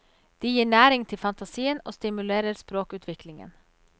De gir næring til fantasien og stimulerer språkutviklingen.